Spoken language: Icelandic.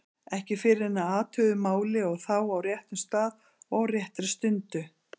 Ekki fyrr en að athuguðu máli og þá á réttum stað og á réttri stundu.